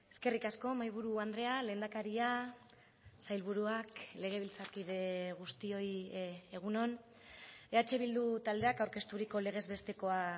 eskerrik asko mahaiburu andrea lehendakaria sailburuak legebiltzarkide guztioi egun on eh bildu taldeak aurkezturiko legez bestekoa